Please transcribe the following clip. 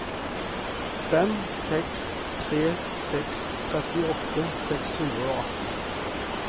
fem seks tre seks trettiåtte seks hundre og atten